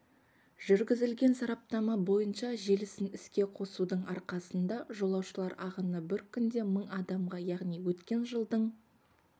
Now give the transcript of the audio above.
жүргізілген сараптама бойынша желісін іске қосудың арқасында жолаушылар ағыны бір күнде мың адамға яғни өткен жылдың